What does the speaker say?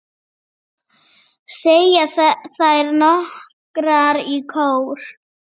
segja þær nokkrar í kór.